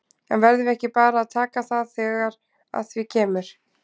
En verðum við ekki bara að taka það þegar að því kemur?